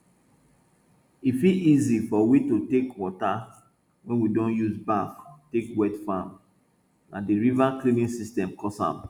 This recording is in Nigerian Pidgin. e fit easy for we to take water wey we don use baff take wet farm na di water cleaning system cause am